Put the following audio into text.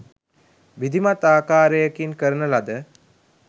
විධිමත් ආකාරයකින් කරන ලද